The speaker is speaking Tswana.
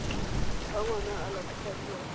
fa ngwana a latofadiwa ka